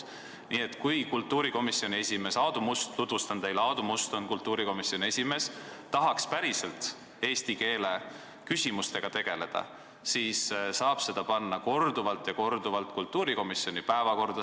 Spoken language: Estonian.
Nii et kui kultuurikomisjoni esimees Aadu Must – tutvustan teile, Aadu Must on kultuurikomisjoni esimees – tahaks päriselt eesti keele küsimustega tegeleda, siis ta saab panna selle teema korduvalt ja korduvalt kultuurikomisjoni päevakorda.